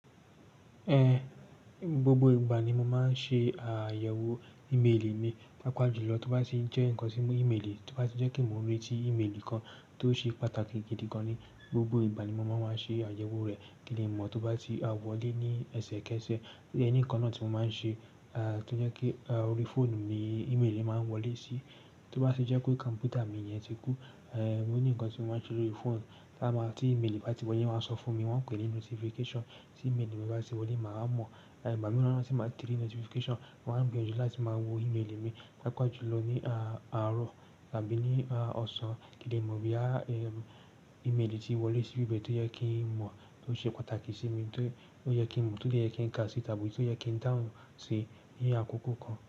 Ẹn, gbogbo ìgbà ni mo máa ń ṣe àyẹ̀wò ìméèlì mi, pápá jùlọ tó bá n ti n jẹ́ nǹkan tí mu ìméèlì tó bá ti jẹ́ ke mo n re tí ìméèlì kan tó ṣe pàtàkì gidi gan ni gbogbo ìgbà ni mo má maa ṣe àyẹ̀wò rẹ̀. Kí n le mọ́, tó bá ti wọlé ní ẹsẹ̀kẹsẹ̀, ó dẹ ní nǹkan náà tí mo máa ń ṣe, a, tó jẹ́ kí, a, orí fóònù ni ìméèlì yen máa ń wọlé sí. Tó bá tì jẹ́ pé kọ̀m̀pútà mi yẹn ti kú, ẹ́, ó ní nǹkan tí mo máa ń ṣe lórí foonu. Tá máa, tí ìméèlì bá ti wọlé, won a sọ fún mi, wọ́n pè é ní notification. Tí ìméèlì mi bá ti wọlé, màá mọ̀. Ẹ̀, ìgbà mìíràn ni tí n ba ti rì notification, mo màá gbiyanju láti máa wo ìméèlì mi pápá jùlọ ní a, àárọ̀ tàbí ní, a, ọ̀sán. Kín le mọ́ boya, ìméèlì ti wọlé sí ibi bẹ̀ tó yẹ kí n mọ̀, tó ṣe pàtàkì sí mi, tó, ti ó yẹ kí n mọ̀, tó dẹ kí n ka sí i tàbí tó yẹ kí n dahun sí i ní àkókò kan.